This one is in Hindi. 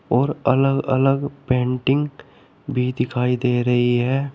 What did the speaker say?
और अलग अलग पेंटिंग भी दिखाई दे रही है।